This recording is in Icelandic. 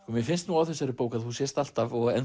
mér finnst á þessari bók að þú sért alltaf og